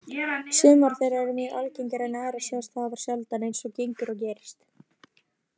Sumar þeirra eru mjög algengar en aðrar sjást afar sjaldan, eins og gengur og gerist.